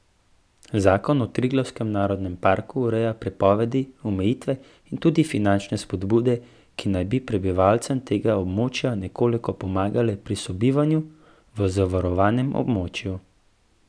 Zakon o Triglavskem narodnem parku ureja prepovedi, omejitve in tudi finančne spodbude, ki naj bi prebivalcem tega območja nekoliko pomagale pri sobivanju v zavarovanem območju.